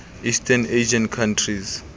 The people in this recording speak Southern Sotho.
east asian countries